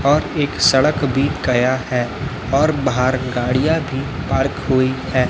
और एक सड़क भी गया है और बाहर गाड़ियां भी पार्क हुई है।